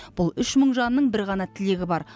бұл үш мың жанның бір ғана тілегі бар